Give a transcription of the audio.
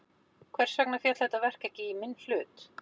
Hvers vegna féll þetta verk ekki í minn hlut?